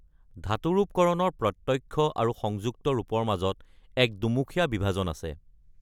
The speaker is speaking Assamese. ধাতুৰূপ কৰণৰ প্ৰত্যক্ষ আৰু সংযুক্ত ৰূপৰ মাজত এক দুমুখীয়া বিভাজন আছে।